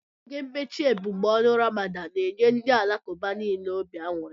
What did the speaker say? Oge mmechi ebumọọnụ Ramadan n'enye ndị Alakuba nile obi aṅụri